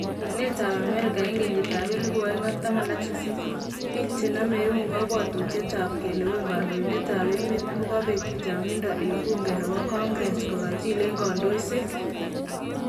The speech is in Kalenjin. Lewenetab Amerika 2018: biik che namee eun kabwatutiet ab kelewen kandointed ab emet kokabeek chang'inda en buunke nebo Congress kokakichill en kandoiset.